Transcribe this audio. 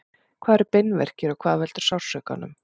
hvað eru beinverkir og hvað veldur sársaukanum